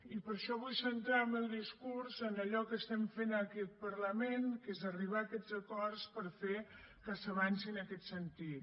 i per això vull centrar el meu discurs en allò que estem fent en aquest parlament que és arribar a aquests acords per fer que s’avanci en aquest sentit